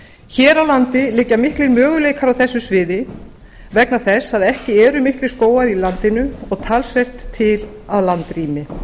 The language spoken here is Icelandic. hér á landi liggja miklir möguleikar á þessu sviði vegna þess að ekki eru miklir skógar í landinu og talsvert til af landrými